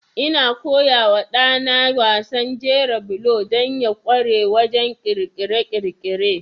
Ina koya wa ɗana wasan jera bulo don ya ƙware wajen ƙirƙire-ƙirƙire.